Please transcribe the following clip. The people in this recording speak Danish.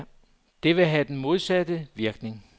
Det vil have den modsatte virkning.